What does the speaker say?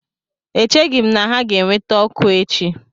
Echeghị m na ha ga-eweta ọkụ echi